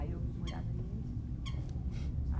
Aí, eu vim morar no Imirim.